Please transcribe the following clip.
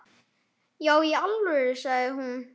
Já í alvöru, sagði hún.